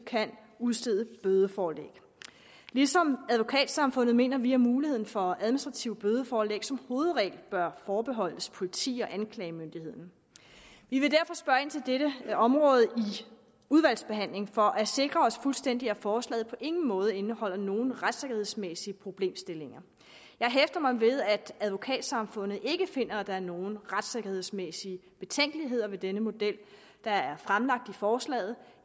kan udstede bødeforelæg ligesom advokatsamfundet mener vi at muligheden for administrative bødeforelæg som hovedregel bør forbeholdes politi og anklagemyndigheden vi vil derfor spørge ind til dette område i udvalgsbehandlingen for at sikre os fuldstændig at forslaget på ingen måde indeholder nogen retssikkerhedsmæssige problemstillinger jeg hæfter mig ved at advokatsamfundet ikke finder at der er nogen retssikkerhedsmæssige betænkeligheder ved den her model der er fremlagt i forslaget